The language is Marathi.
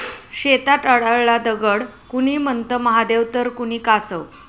शेतात आढळला दगड, कुणी म्हणतं महादेव तर कुणी कासव!